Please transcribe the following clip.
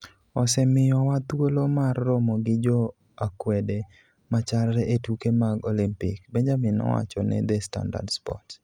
Osemiyowa thuolo mar romo gi jo akwede machalre e tuke mag Olimpik", Benjamin nowacho ne The Standard Sports.